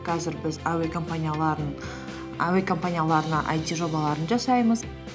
қазір біз әуе компанияларына айти жобаларын жасаймыз